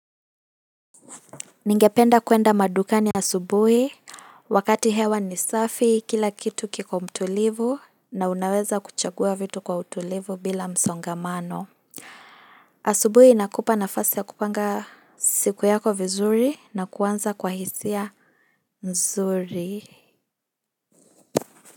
Ningependa kuenda madukani asubuhi wakati hewa ni safi kila kitu kiko mtulivu na unaweza kuchagua vitu kwa utulivu bila msongamano. Asubuhi inakupa nafasi ya kupanga siku yako vizuri na kuanza kwa hisia nzuri.